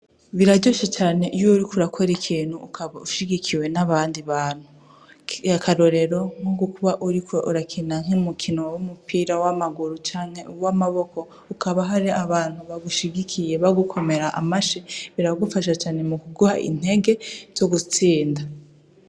Biraryoshe cane iy'uriko urakora ikintu ukaba ushigikiwe n'abandi bantu, akarorero nk'ukuba uriko urakina umupira w'amaguru canke uw'amaboko hakaba hari abantu bagushigikiye bagukomera amashi biragufasha cane mu kuguha intege zo gutsinda.